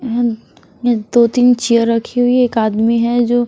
ये दो तीन चेयर रखी हुई है एक आदमी है जो --